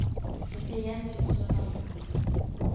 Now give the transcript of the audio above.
nittien tusen og femten